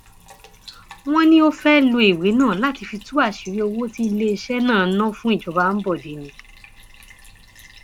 wọn ní ó fẹẹ lo ìwé náà láti fi tú àṣírí owó tí iléeṣẹ náà ná fún ìjọba ambode ni